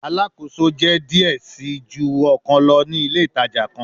Alakoso jẹ diẹ sii ju ọkan lọ ni ile itaja kan